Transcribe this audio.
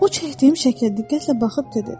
O çəkdiyim şəkilə diqqətlə baxıb dedi: